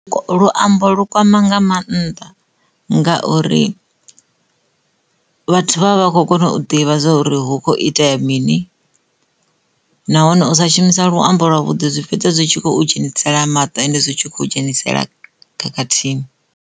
Luambo lu kwama nga mannḓa ngauri vhathu vha vha khou kona u ḓivha zwa uri hu kho itea mini nahone u sa shumisa luambo lwa vhudi zwi fhedza zwi tshi khou dzhenisela maṱo ende zwi tshi kho dzhenisela khakhathini.